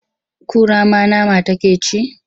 Kura ma nama take ci?